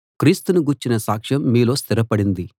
క్రీస్తును గూర్చిన సాక్ష్యం మీలో స్థిరపడింది